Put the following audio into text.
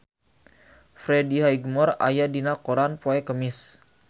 Freddie Highmore aya dina koran poe Kemis